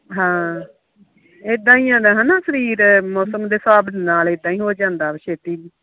ਹਾਂ ਇਦਾ ਹੀ ਆ ਨਾ ਸ਼ਰੀਰ ਮੌਸਮ ਦੇ ਹਿਸਾਬ ਨਾਲ ਹੋ ਜਾਂਦਾ ਆ ਛੇਤੀ